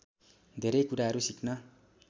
धेरै कुराहरु सिक्न